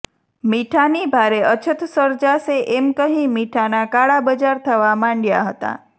મીઠાની ભારે અછત સર્જાશે એમ કહી મીઠાના કાળા બજાર થવા માંડયા હતા